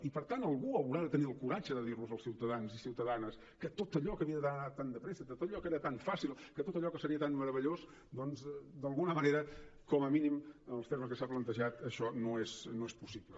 i per tant algú haurà de tenir el coratge de dir als ciutadans i ciutadanes que tot allò que havia d’anar tan de pressa que tot allò que era tan fàcil que tot allò que seria tan meravellós doncs d’alguna manera com a mínim en els termes en què s’ha plantejat això no és possible